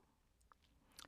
DR2